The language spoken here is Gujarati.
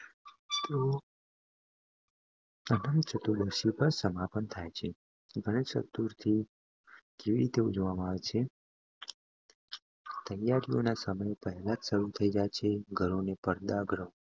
અનંત ચતુર્દશી પર સમાપ્ત થાય છે ગણેશ ચતુર્થી કેવી રીતે ઉજવવામાં આવે છે. તૈયારીઓ સમય પહેલા જ શરૂ થય જાય છે, ઘરોને પડદા ગૃહો